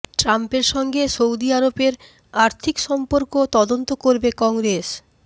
ট্রাম্পের সঙ্গে সৌদি আরবের আর্থিক সম্পর্ক তদন্ত করবে কংগ্রেস